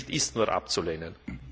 Dieser Bericht ist nur abzulehnen.